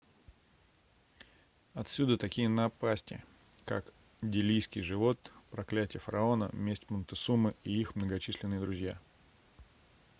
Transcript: отсюда такие напасти как делийский живот проклятье фараона месть монтесумы и их многочисленные друзья